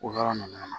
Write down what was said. O yɔrɔ ninnu na